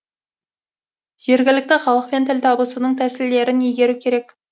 жергілікті халықпен тіл табысудың тәсілдерін игеру керек